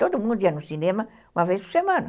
Todo mundo ia no cinema uma vez por semana.